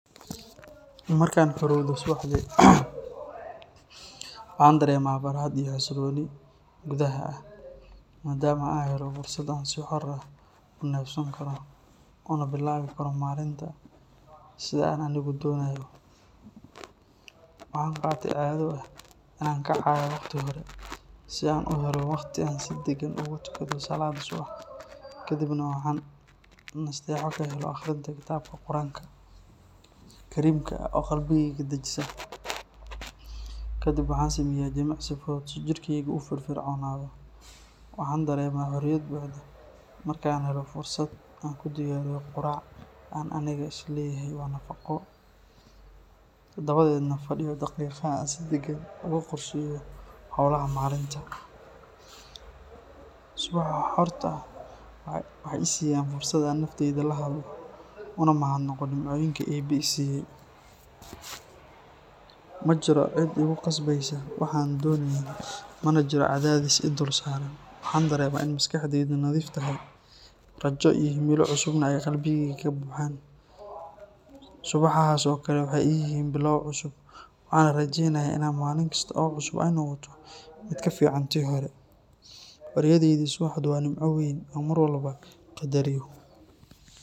Markaan xorowdo subaxdii, waxaan dareemaa farxad iyo xasilooni gudaha ah, maadaama aan helo fursad aan si xor ah ku neefsan karo, una bilaabi karo maalinta sida aan anigu doonayo. Waxaan qaatay caado ah in aan kacayo waqti hore, si aan u helo wakhti aan si degan ugu tukado salaadda subax, kadibna waxaan nasteexo ka helo akhrinta kitaabka Qur’aanka kariimka ah oo qalbigayga dejisa. Kadib waxaan sameeyaa jimicsi fudud si jirkeygu u firfircoonaado. Waxaan dareemaa xorriyad buuxda markaan helo fursad aan ku diyaariyo quraac aan aniga is leeyahay waa nafaqo, dabadeedna fadhiyo daqiiqado aan si deggan ugu qorsheeyo howlaha maalinta. Subaxaha xorta ah waxay i siiyaan fursad aan naftayda la hadlo, una mahadnaqo nimcooyinka Eebbe i siiyay. Ma jiro cid igu khasbeysa wax aanan doonayn, mana jiro cadaadis i dul saaran. Waxaan dareemaa in maskaxdaydu nadiif tahay, rajo iyo himilo cusubna ay qalbigayga ka buuxaan. Subaxahaas oo kale waxay ii yihiin bilow cusub, waxaana rajaynayaa in maalin kasta oo cusub ay noqoto mid ka fiican tii hore. Xorriyadda subaxdu waa nimco weyn oo aan mar walba qadariyo.